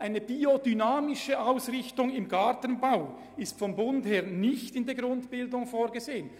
Eine biodynamische Ausrichtung im Gartenbau ist seitens des Bundes nicht in der Grundbildung vorgesehen.